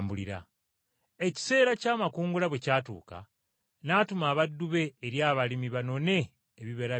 Ekiseera ky’amakungula bwe kyatuuka, n’atuma abaddu be eri abalimi banone ebibala byamu.